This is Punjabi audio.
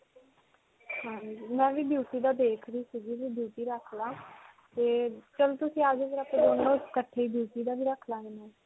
ਹਾਂਜੀ. ਮੈਂ ਵੀ beauty ਦਾ ਦੇਖ ਰਹੀ ਸਿਗੀ ਵੀ beauty ਰੱਖ ਲਵਾਂ ਤੇ ਚਲੋ ਤੁਸੀਂ ਆ ਜੋ ਫਿਰ ਅਸੀਂ ਦੋਨੋਂ ਇਕੱਠੇ beauty ਦਾ ਵੀ ਰੱਖ ਲਵਾਂਗੇ.